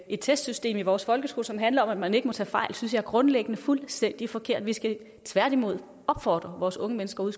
et testsystem i vores folkeskole som handler om at man ikke må tage fejl synes jeg grundlæggende er fuldstændig forkert vi skal tværtimod opfordre vores unge mennesker ude